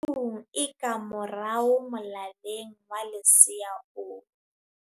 o thi shung e ka morao molaleng wa lesea o